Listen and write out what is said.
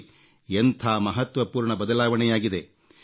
ನೋಡಿ ಎಂಥ ಮಹತ್ವಪೂರ್ಣ ಬದಲಾವಣೆಯಾಗಿದೆ